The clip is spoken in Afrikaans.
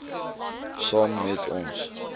saam met ons